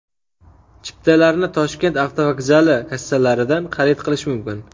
Chiptalarni Toshkent avtovokzali kassalaridan xarid qilish mumkin.